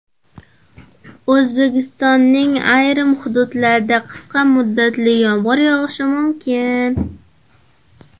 O‘zbekistonning ayrim hududlarida qisqa muddatli yomg‘ir yog‘ishi mumkin.